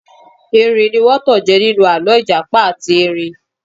Erin ní wọ́n tanjẹ ninu alọ ìjàpá àti erin.